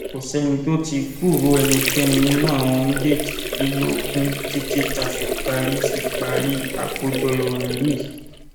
kò sẹni tó tí ì gbúròó ẹnikẹni nínú àwọn méjèèjìdínlógún títí tá a fi parí fi parí àkójọ ìròyìn yìí